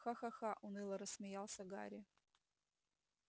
ха-ха-ха уныло рассмеялся гарри